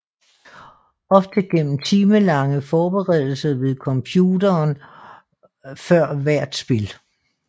Ofte gennem timelange forberedelser ved computeren før hvert spil